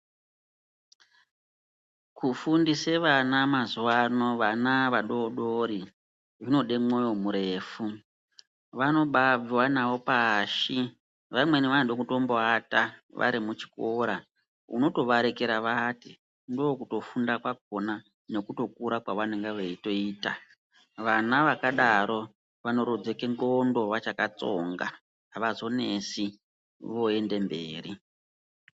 Kufundise vana mazuwa ano vana vadoodori zvinode moyo murefu. Vanombaabviwa navo pashi. Vamweni vanombotoda kuata vari muchikora, unotovarekera vaate ndookutofunda kwakhona nekutokura kwevanenge veiita. Vana vakadaro vanorodzeka ndxondo vachakatsonga avazonesi voende mberi.